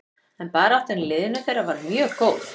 En baráttan í liðinu þeirra var mjög góð.